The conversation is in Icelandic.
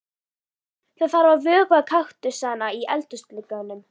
Það þarf að vökva kaktusana í eldhúsglugganum.